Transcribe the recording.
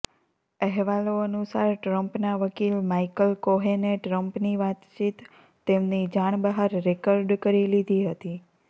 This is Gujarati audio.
અહેવાલો અનુસારો ટ્રમ્પના વકીલ માઇકલ કોહેને ટ્રમ્પની વાતચીત તેમની જાણ બહાર રેકર્ડ કરી લીધી હતી